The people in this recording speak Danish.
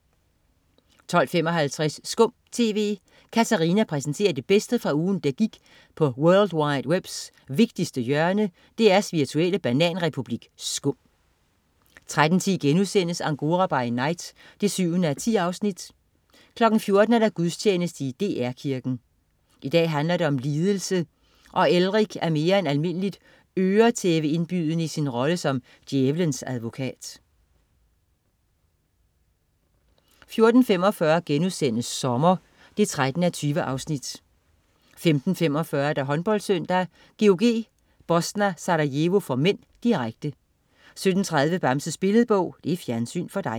12.55 SKUM TV. Katarina præsenterer det bedste fra ugen, der gik nede på world wide webs vigtigste hjørne, DR's virtuelle bananrepublik SKUM 13.10 Angora by night 7:10* 14.00 Gudstjeneste i DR Kirken. I dag handler det om lidelse, og Elrik er mere end almindeligt øretæveindbydende i sin rolle som Djævlens advokat 14.45 Sommer 13:20* 15.45 HåndboldSøndag: GOG-Bosna Sarajevo (m), direkte 17.30 Bamses Billedbog. Fjernsyn for dig